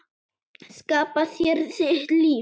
Skapa þér þitt líf.